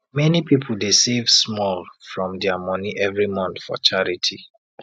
many people dey save small from their money every month for charity